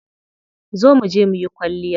Zo muje muyi kwalliya.